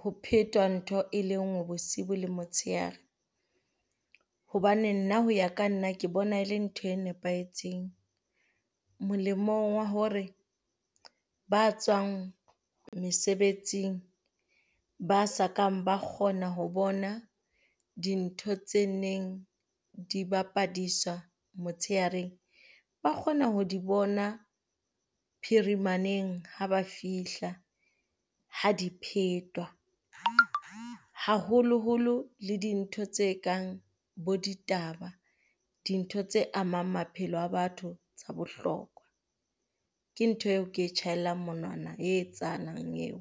ho phetwa ntho e le ngwe bosibu le motshehare. Hobane nna ho ya ka nna ke bona e le ntho e nepahetseng molemong wa hore ba tswang mesebetsing, ba sa kang ba kgona ho bona dintho tse neng di bapadiswa motshehareng, ba kgona ho di bona phirimaneng ha ba fihla. Ha di phetwa haholoholo le dintho tse kang bo ditaba. Dintho tse amang maphelo a batho tsa bohlokwa. Ke ntho eo ke tjhaelang monwana e etsahalang eo.